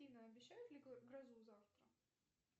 афина обещают ли грозу завтра